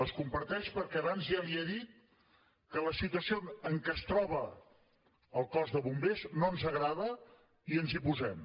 les comparteix perquè abans ja li he dit que la situació en què es troba el cos de bombers no ens agrada i ens hi posem